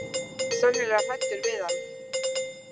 Sennilega hræddur við hann.